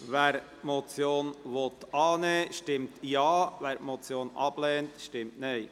Wer diese annehmen will, stimmt Ja, wer diese ablehnt, stimmt Nein.